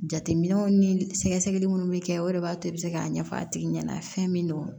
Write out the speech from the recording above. Jateminɛw ni sɛgɛsɛgɛli minnu bɛ kɛ o de b'a to i bɛ se k'a ɲɛfɔ a tigi ɲɛna fɛn min don